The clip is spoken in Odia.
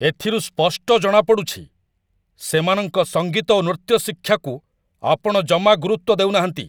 ଏଥିରୁ ସ୍ପଷ୍ଟ ଜଣାପଡ଼ୁଛି, ସେମାନଙ୍କ ସଙ୍ଗୀତ ଓ ନୃତ୍ୟ ଶିକ୍ଷାକୁ ଆପଣ ଜମା ଗୁରୁତ୍ୱ ଦେଉନାହାନ୍ତି।